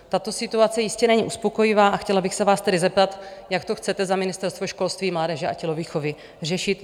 Tato situace jistě není uspokojivá, a chtěla bych se vás tedy zeptat, jak to chcete za Ministerstvo školství, mládeže a tělovýchovy řešit?